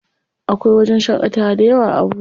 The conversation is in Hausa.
Akwai wajen shaƙatawa dayawa a Abuja.